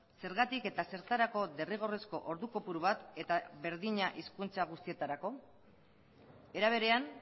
zergatik eta zertarako derrigorrezko ordu kopuru bat eta berdina hizkuntza guztietarako era berean